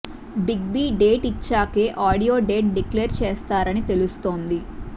big B date ఇచ్చాకే audio date declare చేస్తారని తెలుస్తోంది